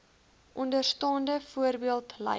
onderstaande voorbeeld lyk